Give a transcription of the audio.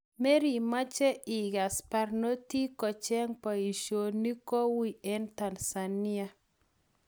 Merimache igas parnotik kocheng paishonik ko uih eng Tanzania?